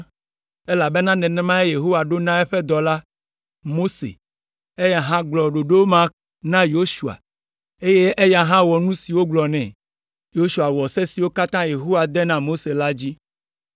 elabena nenemae Yehowa ɖo na eƒe dɔla, Mose, eya hã gblɔ ɖoɖo ma na Yosua, eye eya hã wɔ nu si wogblɔ nɛ. Yosua wɔ se siwo katã Yehowa de na Mose la dzi.